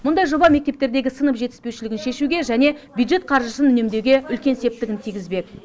мұндай жоба мектептердегі сынып жетіспеушілігін шешуге және бюджет қаржысын үнемдеуге үлкен септігін тигізбек